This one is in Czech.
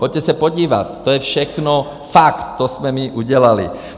Běžte se podívat, to je všechno fakt, to jsme my udělali.